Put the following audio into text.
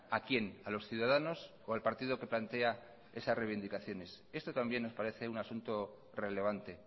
a quién a los ciudadanos o al partido que plantea esas reivindicaciones esto también nos parece un asunto relevante